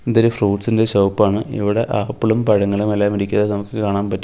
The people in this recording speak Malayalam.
ഇത് ഒരു ഫ്രൂട്ട്സ് ഇൻ്റെ ഷോപ്പ് ആണ് ഇവിടെ ആപ്പിളും പഴങ്ങളുമെല്ലാം ഇരിക്കുന്നത് നമുക്ക് കാണാൻ പറ്റും.